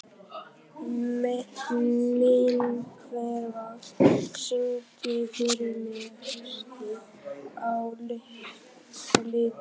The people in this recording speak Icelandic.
Minerva, syngdu fyrir mig „Haustið á liti“.